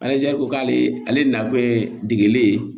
ko k'ale ale na degele